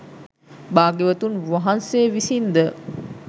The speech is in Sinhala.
භාග්‍යවතුන් වහන්සේ විසින් ද